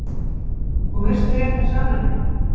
Og veistu rétta sannleikann?